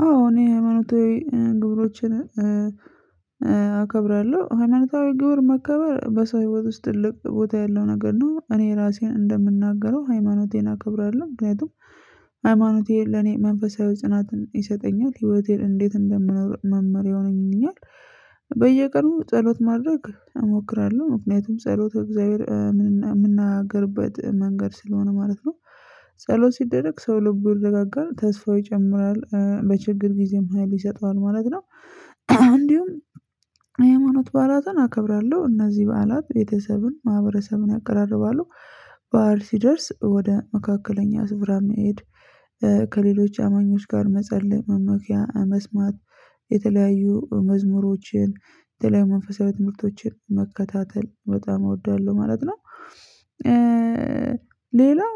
አዎ እኔ ሃይማኖታዊ ግብሮችን አከብራለሁ ሃይማኖታዊ ግብር መከበር በሰው ህይወት ውስጥ ልብ ቦታ ያለው ነገር ነው እኔ ራሴን እንደምናገረው ሃይማኖቴን አከብራለሁ። ምክንያቱም ሃይማኖቴ ለኔ መንፈሳዊ ጽናትን ይሰጠኛል ህይወቴን እንዴት እንደምኖር መመርያ ይሆነኛል። በየቀኑ ጸሎት ማድረግ እሞክራለሁ ምክንያቱም ጸሎት በእግዚአብሔር የምናገርበት መንገድ ስለሆነ ማለት ነው። ጸሎት ሲደረግ ሰው ልቡ ይረጋጋል ተስፋው ይጨምራል በችግር ጊዜም ሀይል ይሰጠዋል ማለት ነው። እንዲሁም የሃይማኖት በዓላትን አከብራለሁ እነዚህ በዓላት ቤተሰብን ማህበረሰብን ያቀራርባሉ። በዓል ሲደርስ ወደ መካከለኛ ስፍራ መሄድ ከሌሎች አማኞች ጋር መጸለይ መመኪያ መስማት የተለያዩ መዝሙሮችን የተለያዩ መንፈሳዊ ትምህርቶችን መከታተል በጣም እወዳለሁ ማለት ነው። ሌላው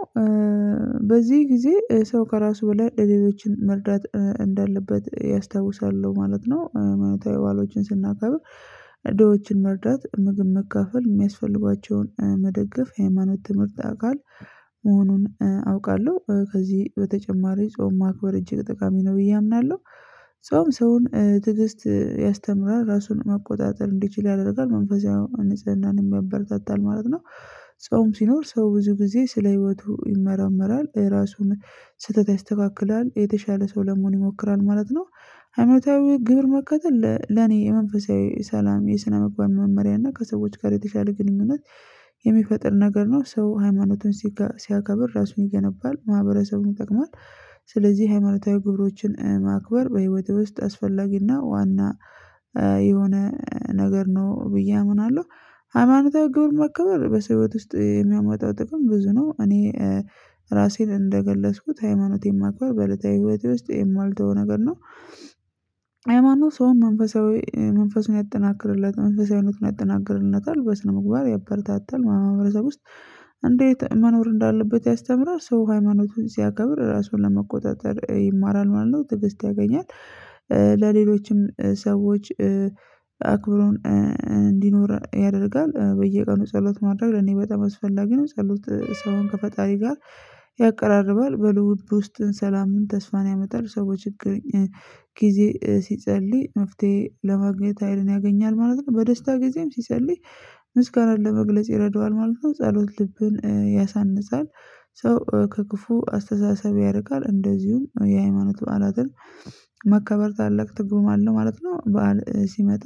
በዚህ ጊዜ ሰው ከራሱ በላይ ለሌሎች መርዳት እንዳለበት ያስታውሳል ማለት ነው። አመታዊ በዓሎችን ስናከብር ድሆችን መርዳት ምግብ መካፈል የሚያስፈልጓቸውን መደገፍ ሃይማኖት ትምህርት አካል መሆኑን አውቃለሁ። ከዚህ በተጨማሪ ጾም ማክበር እጅግ ጠቃሚ ነው ብዬ አምናለሁ። ጾም ሰውን ትዕግስት ያስተምራል ራሱን መቆጣጠር እንዲችል ያደርጋል መንፈሳዊ ንፅህናንም ያበረታታል ማለት ነው። ጾም ሲኖር ሰው ብዙ ጊዜ ስለ ህይወቱ ይመራመራል የራሱን ስህተት ያስተካክላል የተሻለ ሰው ለመሆን ይሞክራል ማለት ነው። አመታዊ ግብር መከተል ለኔ የመንፈሳዊ ሰላም የስነምግባር መመሪያ እና ከሰዎች ጋር የተሻለ ግንኙነት የሚፈጥር ነገር ነው። ሰው ሃይማኖቱን ሲያከብር ራሱን ይገነባል ማህበረሰቡን ይጠቅማል። ስለዚህ ሃይማኖታዊ ግብሮችን ማክበር በህይወትህ ውስጥ አስፈላጊና ዋና የሆነ ነገር ነው ብዬ አምናለሁ። ሃይማኖታዊ ግብር መከበር በሰው ህይወት ውስጥ የሚያመጣው ጥቅም ብዙ ነው። እኔ ራሴን እንደገለጽኩት ሃይማኖቴን ማክበር በእለታዊ ህይወቴ ውስጥ የማልተው ነገር ነው። ሃይማኖት ሰውን መንፈሳዊ መንፈሱን ያጠናክርለት መንፈሳዊነትን ያጠናክርለታል በስነ ምግባር ያበረታታል ማህበረሰብ ውስጥ። እንዴት መኖር እንዳለበት ያስተምራል ሰው ሃይማኖቱን ሲያከብር ራሱን ለመቆጣጠር ይማራል ማለት ነው ትዕግስት ያገኛል። ለሌሎችም ሰዎች አክብሮን እንዲኖር ያደርጋል በየቀኑ ጸሎት ማድረግ ለኔ በጣም አስፈላጊ ነው። ጸሎት ሰውን ከፈጣሪ ጋር ያቀራርባል በልብ ውስጥ ሰላምን ተስፋን ያመጣል ሰው ችግር ጊዜ ሲጸልይ መፍትሄ ለማግኘት ሀይልን ያገኛል ማለት ነው። በደስታ ጊዜም ሲጸልይ ምስጋናን ለመግለጽ ይረዳዋል ማለት ነው። ጸሎት ልብን ያሳንፃል። ሰው ከክፉ አስተሳሰብ ያርቃል። እንደዚሁም የሃይማኖት በዓላትን መከበር ታላቅ ትርጉም አለው ማለት ነው። በዓል ሲመጡ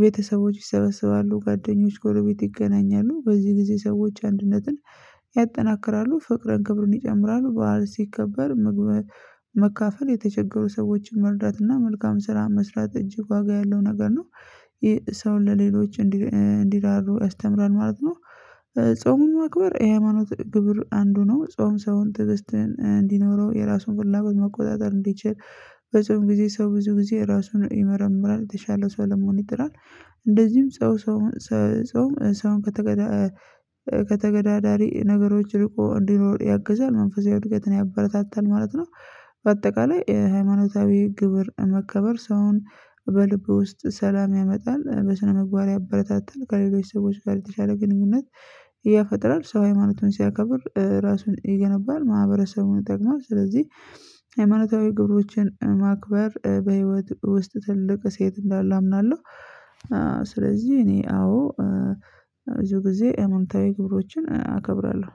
ቤተሰቦች ይሰበስባሉ ጓደኞች ጎልቤት ይገናኛሉ በዚህ ጊዜ ሰዎች አንድነትን ያጠናክራሉ ፍቅርን ክብሩን ይጨምራሉ። በዓል ሲከበር መካፈል የተቸገሩ ሰዎችን መርዳትና መልካም ስራ መስራት እጅግ ዋጋ ያለው ነገር ነው። ይሄ ሰውን ለሌሎች እንዲራሩ አስተምረን ማለት ነው። ጾሙን ማክበር የሃይማኖት ግብር አንዱ ነው። ጾም ሰውን ትዕዛዝን እንዲኖረው የራሱን ፍላጎት መቆጣጠር እንዲችል በዚህም ጊዜ ሰው ብዙ ጊዜ ራሱን ይመረምራል የተሻለ ሰው ለመሆን ይጥራል። እንደዚህም ጾም ሰው ከተገዳዳሪ ነገሮች ሊቆ እንዲኖር ያግዛል መንፈሳዊ እድገትን ያበረታታል ማለት ነው። በአጠቃላይ ሃይማኖታዊ ግብር መከበር ሰውን በልብ ውስጥ ሰላም ያመጣል በስነ ምግባር ያበረታታል ከሌሎች ሰዎች ጋር የተሻለ ግንኙነት ይፈጥራል ሰው ሃይማኖቱን ሲያከብር ራሱን ይገነባል ማህበረሰቡን ጠቅሟል። ስለዚህ ሃይማናታዊ ግብሮችን ማክበር በህይወት ውስጥ ትልቅ ሴት እንዳለ አምናለሁ። ስለዚህ እኔ አዎ ብዙ ጊዜ ሃይማኖታዊ ክብሮችን አከብራለሁ።